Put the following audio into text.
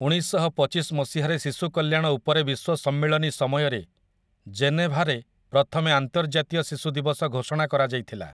ଉଣେଇଶଶହପଚିଶ ମସିହାରେ ଶିଶୁ କଲ୍ୟାଣ ଉପରେ ବିଶ୍ୱ ସମ୍ମିଳନୀ ସମୟରେ ଜେନେଭାରେ ପ୍ରଥମେ ଆନ୍ତର୍ଜାତୀୟ ଶିଶୁ ଦିବସ ଘୋଷଣା କରାଯାଇଥିଲା ।